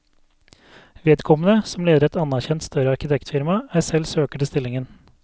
Vedkommende, som leder et anerkjent, større arkitektfirma, er selv søker til stillingen.